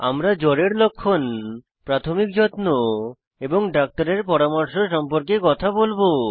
আমরা জ্বরের লক্ষণ প্রাথমিক যত্ন এবং ডাক্তারের পরামর্শ সম্পর্কে কথা বলবো